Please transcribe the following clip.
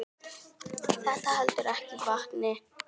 Þetta heldur ekki vatni.